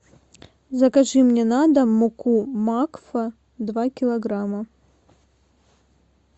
закажи мне на дом муку макфа два килограмма